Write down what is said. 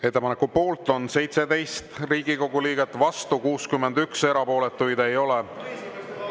Ettepaneku poolt on 17 Riigikogu liiget, vastu 61, erapooletuid ei ole.